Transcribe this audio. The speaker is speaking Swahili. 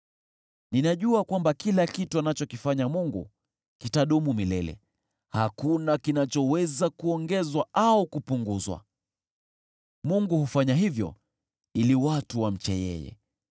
Ninajua kwamba kila kitu anachokifanya Mungu kitadumu milele, hakuna kinachoweza kuongezwa au kupunguzwa. Mungu hufanya hivyo ili watu wamche yeye.